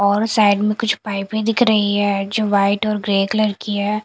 और साइड में कुछ पाईपे भी दिख रही है जो व्हाइट और ग्रे कलर की है।